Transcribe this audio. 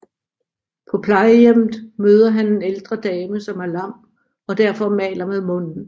På plejehjemmet møder han en ældre dame som er lam og derfor maler med munden